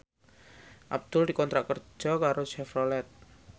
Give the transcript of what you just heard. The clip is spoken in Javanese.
Abdul dikontrak kerja karo Chevrolet